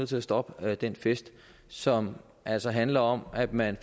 til at stoppe den fest som altså handler om at man